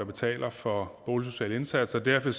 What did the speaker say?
betaler for boligsociale indsatser derfor